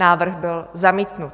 Návrh byl zamítnut.